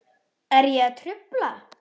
Er ég að trufla?